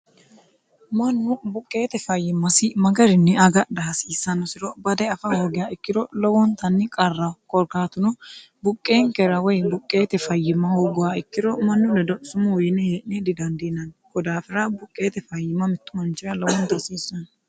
mannu buqqeete fayyimmasi magarinni agadha hasiissannosiro bade afa hoogoya ikkiro lowoontanni qarra qorkaatuno buqqeenkera woy buqqeete fayyima hooggowa ikkiro mannu ledo sumu yine hee'ne didandiinanni ko daafira buqqeete fayyima mittu manchira lowoonta hasiissanno